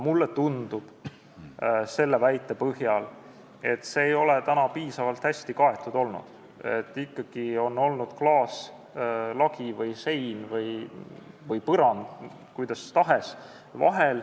Mulle tundub selle väite põhjal, et see ei ole piisavalt hästi kaetud olnud, ikkagi on vahel olnud klaaslagi või -sein või -põrand, kuidas tahes.